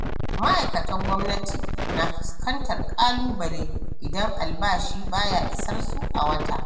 Ma'aikatan gwamnati na fuskantar ƙalubale idan albashi ba ya isar su a wata.